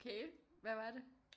Okay hvad var det